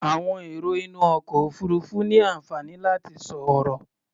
Àwọn èrò inú ọkọ̀ òfuurufú ní àǹfààní láti sọ̀rọ̀.